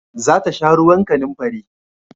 Za ta sha ruwan kanamfari